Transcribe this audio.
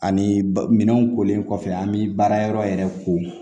Ani ba minɛnw kolen kɔfɛ an bɛ baara yɔrɔ yɛrɛ ko